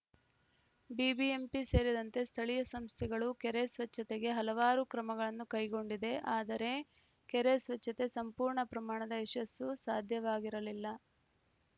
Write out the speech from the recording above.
BBMP ಸೇರಿದಂತೆ ಸ್ಥಳೀಯ ಸಂಸ್ಥೆಗಳು ಕೆರೆ ಸ್ವಚ್ಛತೆಗೆ ಹಲವಾರು ಕ್ರಮಗಳನ್ನು ಕೈಗೊಂಡಿದೆ ಆದರೆ ಕೆರೆ ಸ್ವಚ್ಛತೆ ಸಂಪೂರ್ಣ ಪ್ರಮಾಣದ ಯಶಸ್ಸು ಸಾಧ್ಯವಾಗಿರಲಿಲ್ಲ